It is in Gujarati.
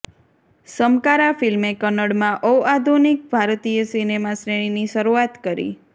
સમકારા ફિલ્મે કન્નડમાં ઔઆધુનિક ભારતીય સિનેમા શ્રેણીની શરૂઆત કરી